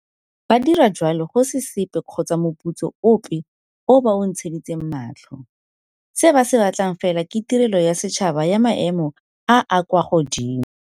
Ba dira jalo go se sepe kgotsa moputso ope o ba o ntsheditseng matlho. Se ba se batlang fela ke tirelo ya setšhaba ya maemo a a kwa godimo.